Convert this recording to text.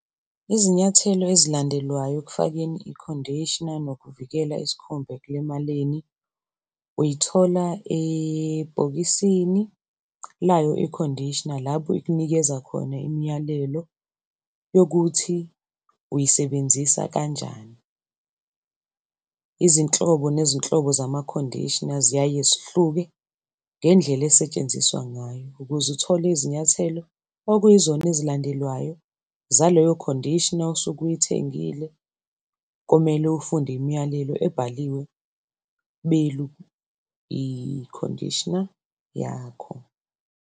Izinyathelo ezilandelwayo ekufakeni i-conditioner nokuvikela isikhumba ekulimaleni uyithola ebhokisini layo i-conditioner lapho ikunikeza khona imiyalelo yokuthi uyisebenzisa kanjani. Izinhlobo nezinhlobo zama-conditioner ziyaye zihluke ngendlela esetshenziswa ngayo. Ukuze uthole izinyathelo okuyizona ezilandelwayo zaleyo conditioner osuke uyithengile, komele ufunde imiyalelo ebhaliwe belu i-conditioner yakho.